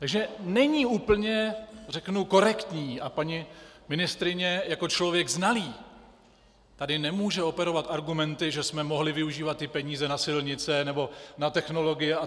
Takže není úplně, řeknu, korektní, a paní ministryně jako člověk znalý tady nemůže operovat argumenty, že jsme mohli využívat ty peníze na silnice nebo na technologie atd.